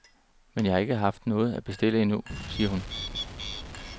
Men jeg har ikke haft noget at bestille endnu, siger hun.